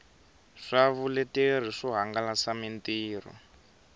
swa vuleteri swo hangalasa mitirho